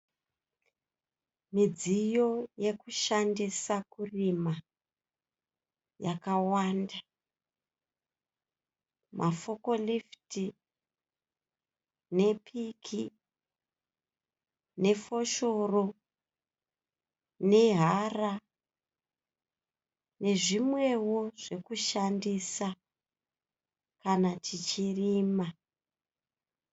Midziyo yokushandisa kurima yakawanda. Mafokorifiti nepiki nefoshoro nehara nezvimwewo zvekushandisa kana tichirima.